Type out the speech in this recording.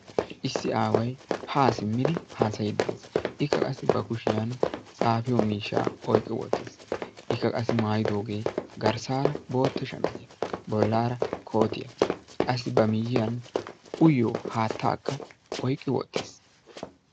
Issi Aaway ha simmidi haasayidi de'ees; ikka qassi ba kushiyan xaafiyo miishsha oyqqi uttis; ikka qassi maayidoge garssara bootta shamisiya; bollara kootiya; qassi ba miyiyan uyiyo haattaaka oyqqi wottiis.